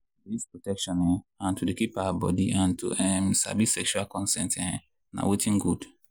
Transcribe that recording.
to dey use protection um and to dey keep our body and to um sabi sexual um consent na watin good.